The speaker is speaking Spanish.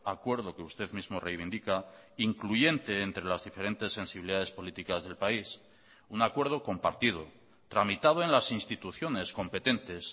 acuerdo que usted mismo reivindica incluyente entre las diferentes sensibilidades políticas del país un acuerdo compartido tramitado en las instituciones competentes